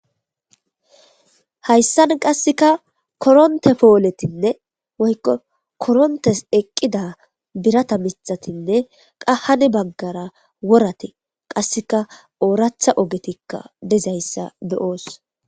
Hayssan qasseka koronte pooletinne woykko korontes eqqida birata mixatinne qahane baggara worate qasseka ooratha ogetikka dezayssa be,oos.